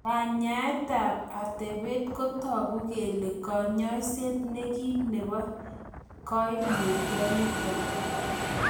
Kanyaetab otebet kotogu kele konyoiset nekim nebo koimutioniton.